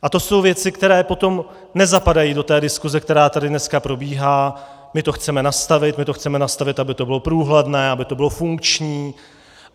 A to jsou věci, které potom nezapadají do té diskuse, která tady dneska probíhá: My to chceme nastavit, my to chceme nastavit, aby to bylo průhledné, aby to bylo funkční.